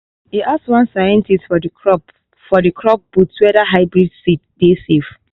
e ask one scientist for the crop for the crop booth whether hybrid seed dey safe.